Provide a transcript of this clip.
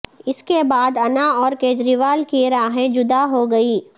اس کے بعد انا اور کیجریوال کے راہیں جدا ہو گئی